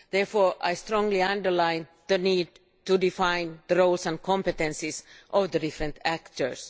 Therefore I strongly underline the need to define the roles and competences of the different actors.